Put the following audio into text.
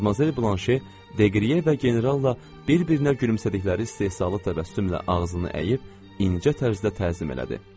Madmazel Blanşe deqrinye və generalla bir-birinə gülümsədikləri istehzalı təbəssümlə ağzını əyib incə tərzdə təzim elədi.